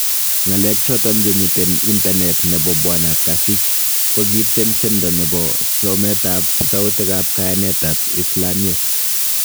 Ng'alek choton chemiten internet nebo Bwana Kasich ko kityen tyendo ne bo somet ab sautikab Kayaaneet ab islamiek.